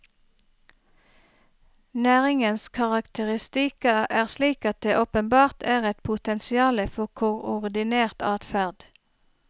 Næringens karakteristika er slik at det åpenbart er et potensiale for koordinert adferd.